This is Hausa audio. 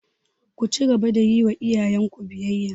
Ku cigaba da yiwa iyayen ku biyayya!